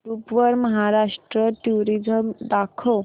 YouTube वर Maharashtra tourism दाखव